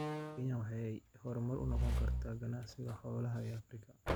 Kenya waxay hormuud u noqon kartaa ganacsiga xoolaha ee Afrika.